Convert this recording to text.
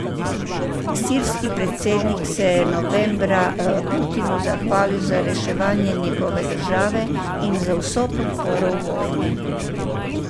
Sirski predsednik se je novembra Putinu zahvalil za reševanje njegove države in za vso podporo v vojni.